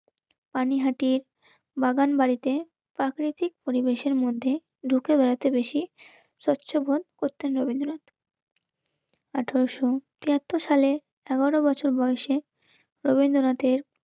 পানিহাটি, বাগান বাড়িতে প্রাকৃতিক পরিবেশের মধ্যে ঢুকে বেড়াতে বেশি. স্বচ্ছ বোধ করতেন রবীন্দ্রনাথ. আঠারোশো তিয়াত্তর সালে এগারো বছর বয়সে রবীন্দ্রনাথের